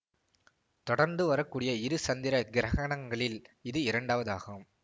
தொடர்ந்து வரக்கூடிய இரு சந்திர கிரகணங்களில் இது இரண்டாவதாகும்